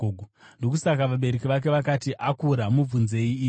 Ndokusaka vabereki vake vakati, “Akura mubvunzei iye.”